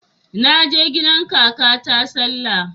Naje gidan kakata sallah